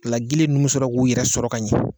O la, gili ninnu bɛ sɔrɔ k'u yɛrɛ sɔrɔ ka ɲɛ.